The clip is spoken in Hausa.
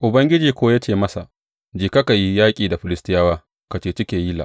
Ubangiji kuwa ya ce masa, Jeka ka yi yaƙi da Filistiyawa, ka ceci Keyila.